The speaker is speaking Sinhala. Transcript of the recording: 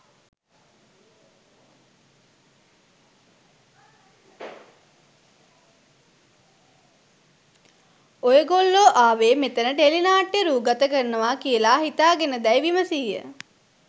ඔයගොල්ලොආවේ මෙතන ටෙලිනාට්‍යයක්‌ රූගත කරනවා කියලා හිතාගෙනදැයි විමසීය.